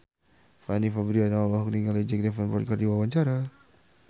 Fanny Fabriana olohok ningali Jack Davenport keur diwawancara